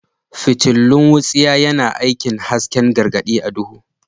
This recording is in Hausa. Fitilun wutsiya yana aikin hasken gargadi a duhu.